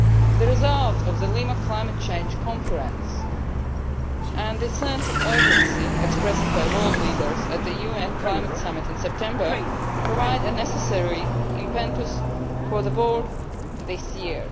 The results of the Lima Climate Change Conference, and a sense of urgency expressed by world leaders at the UN climate summit in September, provide a necessary impetus for the work this year.